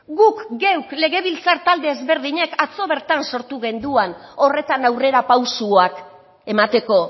guk geuk legebiltzar talde ezberdinek atzo bertan sortu genduan horretan aurrerapausoak emateko